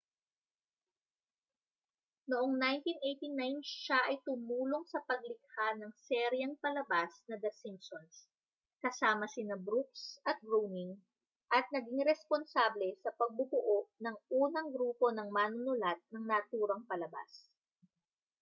noong 1989 siya ay tumulong sa paglikha ng seryeng palabas na the simpsons kasama sina brooks at groening at naging responsable sa pagbubuo ng unang grupo ng manunulat ng naturang palabas